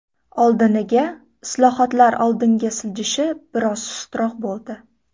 Oldiniga islohotlar oldinga siljishi biroz sustroq bo‘ldi.